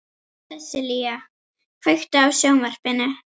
Sessilía, kveiktu á sjónvarpinu.